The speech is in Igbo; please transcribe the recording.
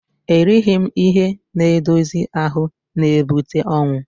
Erighi ihe n'edozi ahụ n'ebute ọnwụ